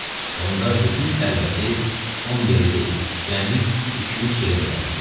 Onda bütün sərvəti 10 yerə deyil, cəmi iki-üç yerə bölərdilər.